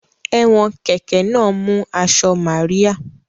Ẹ̀wọ̀n kẹ̀kẹ́ náà mú aṣọ Màríà